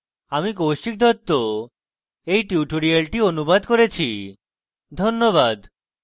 আমি কৌশিক দত্ত এই টিউটোরিয়ালটি অনুবাদ করেছি ধন্যবাদ